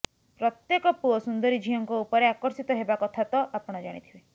ପ୍ରତ୍ୟେକ ପୁଅ ସୁନ୍ଦରୀ ଝିଅଙ୍କ ଉପରେ ଆକର୍ଷିତ ହେବା କଥା ତ ଆପଣ ଜାଣିଥିବେ